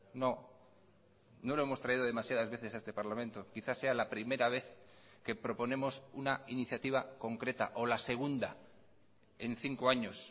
no no lo hemos traído demasiadas veces a este parlamento quizás sea la primera vez que proponemos una iniciativa concreta o la segunda en cinco años